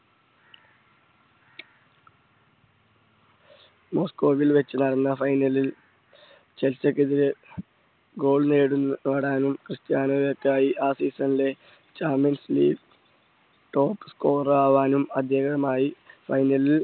മോസ്കോവിൽ വച്ച് നടന്ന final ലിൽ ചെൽസിക്കെതിരെ goal നേടും നേടാനും ക്രിസ്റ്റ്യാനോയിക്കായി ആ season ലെ top score ആവാനും അദ്ദേഹവുമായി final ലിൽ